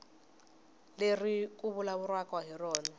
leri ku vulavuriwaka hi rona